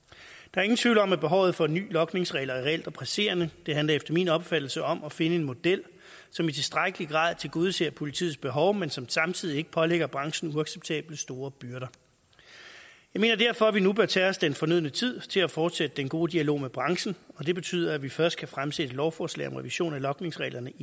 er ingen tvivl om at behovet for nye logningsregler er reelt og presserende det handler efter min opfattelse om at finde en model som i tilstrækkelig grad tilgodeser politiets behov men som samtidig ikke pålægger branchen uacceptabelt store byrder jeg mener derfor at vi nu bør tage os den fornødne tid til at fortsætte den gode dialog med branchen og det betyder at vi først kan fremsætte et lovforslag om revision af logningsreglerne